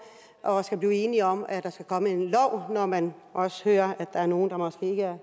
og skal blive enige om at der skal komme en og når man også hører at der er nogle der måske ikke er